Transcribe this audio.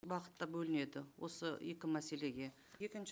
бағытта бөлінеді осы екі мәселеге екінші